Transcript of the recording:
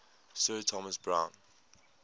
sir thomas browne